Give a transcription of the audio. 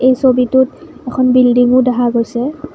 এই ছবিটোত এখন বীল্ডিংও দেখা গৈছে।